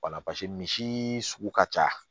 Wala paseke misi sugu ka ca